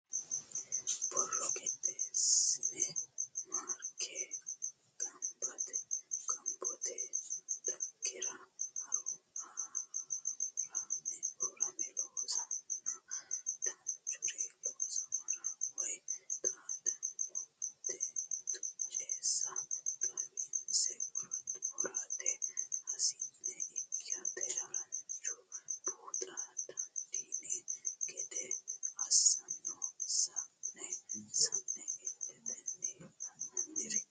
Borro qixxeessine mareekka gobbate dhaggera hururame loonsaninna danchuri loossamore woyi xaadino tucessa xawinse worate hasi'ne ikkinotta haranchunni buuxa dandiinanni gede assano sa'ne sa'ne iletenni la'nanniri.